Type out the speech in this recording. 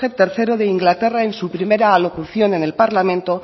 tercero de inglaterra en su primera alocución en el parlamento